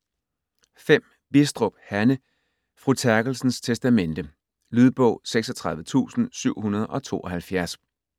Bistrup, Hanne: Fru Terkelsens testamente Lydbog 36772